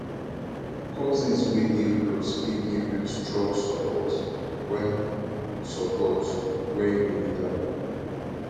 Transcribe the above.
cousins wey dey close fit give you strong support when support when you need am